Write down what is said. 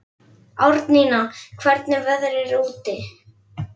Árnína, hvernig er veðrið úti?